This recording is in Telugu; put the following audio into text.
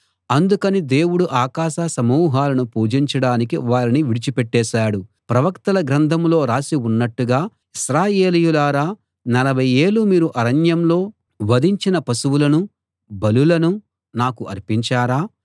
అందుకని దేవుడు ఆకాశ సమూహాలను పూజించడానికి వారిని విడిచిపెట్టేశాడు ప్రవక్తల గ్రంథంలో రాసి ఉన్నట్టుగా ఇశ్రాయేలీయులారా నలభై ఏళ్ళు మీరు అరణ్యంలో వధించిన పశువులనూ బలులనూ నాకు అర్పించారా